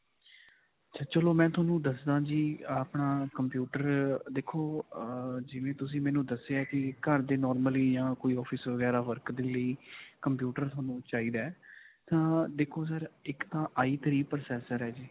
ਚਲੋ ਮੈਂ ਤੁਹਾਨੂੰ ਦੱਸਾਂ ਜੀ ਆਪਣਾ computer ਅਅ ਦੇਖੋ, ਅਅ ਜਿਵੇਂ ਤੁਸੀਂ ਮੈਨੂੰ ਦੱਸਿਆ ਹੈ ਕਿ ਘਰ ਦੇ normally ਜਾਂ office ਵਗੈਰਾ work ਦੇ ਲਈ computer ਤੁਹਾਨੂੰ ਚਾਹਿਦਾ ਹੈ ਤਾਂ ਦੇਖੋ sir ਇਕ ਤਾਂ ਆਈ ਥ੍ਰੀ processor ਹੈ ਜੀ.